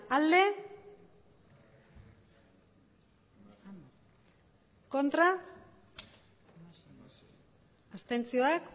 bai hamar ez hamasei abstentzioak